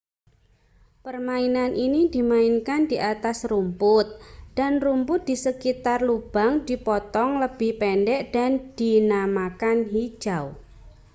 permainan ini dimainkan di atas rumput dan rumput di sekitar lubang dipotong lebih pendek dan dinamakan hijau